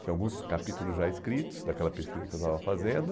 Tinha alguns capítulos já escritos daquela pesquisa que eu estava fazendo.